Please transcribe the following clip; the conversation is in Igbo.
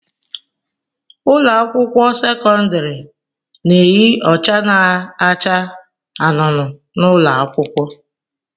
Ụlọ akwụkwọ sekọndrị na-eyi ọcha na-acha anụnụ n'ụlọ akwụkwọ.